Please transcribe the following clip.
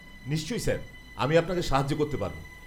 নিশ্চয় স্যার, আমি আপনাকে সাহায্য করতে পারব।